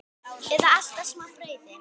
Eða alltaf smá brauði?